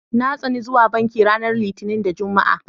Na tsani zuwa banki ranar Litinin da Juma'a.